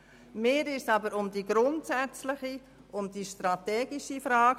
Mir ging es bei diesem Vorstoss aber um die grundsätzliche und strategische Frage.